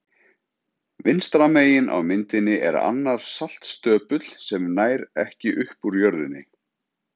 Vinstra megin á myndinni er annar saltstöpull sem nær ekki upp úr jörðinni.